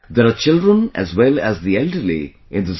There are children as well as the elderly in this group